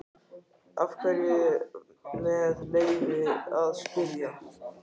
Af hverju, með leyfi að spyrja?